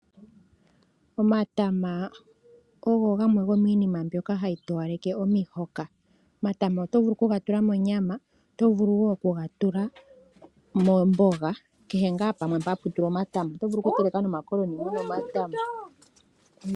Omatama ogo gamwe gomiinima mbyoka hayi towaleke omihoka. Omatama oto vulu okuga tula monyama , oto vulu wo okuga tula momboga kehe ngaa pamwe mpa hapu tulwa omatama. Oto vulu okuteleka nomakoloni muna omatama.